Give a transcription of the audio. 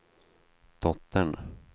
dottern